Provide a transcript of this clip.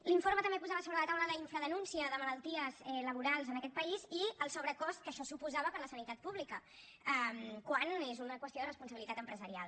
l’informe també posava sobre la taula la infradenúncia de malalties laborals en aquest país i el sobrecost que això suposava per a la sanitat pública quan és una qüestió de responsabilitat empresarial